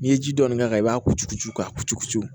N'i ye ji dɔɔni k'a kan i b'a ko cugu ka ku